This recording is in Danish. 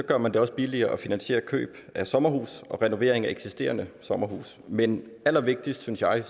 gør man det også billigere at finansiere køb af sommerhus og renovering af eksisterende sommerhus men allervigtigst synes jeg